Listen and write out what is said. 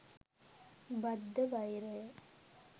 බද්ධ වෛරය